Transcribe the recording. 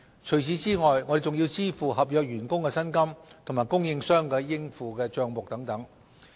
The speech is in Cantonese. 除此之外，我們還要支付合約員工的薪金和供應商的應付帳目等。